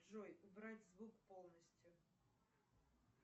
джой убрать звук полностью